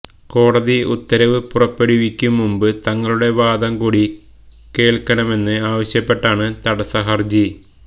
കോടതി ഉത്തരവ് പുറപ്പെടുവിക്കും മുമ്പ് തങ്ങളുടെ വാദം കൂടി കേള്ക്കണമെന്ന് ആവശ്യപ്പെട്ടാണ് തടസ ഹര്ജി